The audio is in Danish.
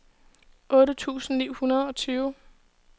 otte tusind ni hundrede og tyve